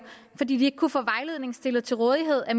fordi de ikke kunne få vejledning stillet til rådighed af